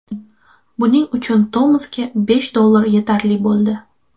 Buning uchun Tomasga besh dollar yetarli bo‘ldi.